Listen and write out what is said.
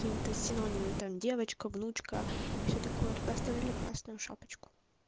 синонимы там девочка внучка и все такое поставили красную шапочку